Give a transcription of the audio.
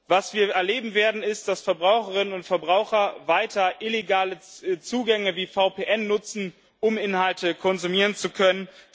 Was wir erleben werden ist, dass Verbraucherinnen und Verbraucher weiter illegale Zugänge wie VPN nutzen, um Inhalte konsumieren zu können.